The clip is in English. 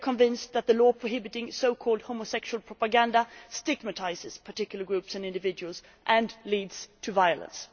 We are convinced that the law prohibiting so called homosexual propaganda stigmatises particular groups and individuals and leads to violence.